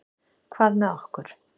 Hvað með okkur?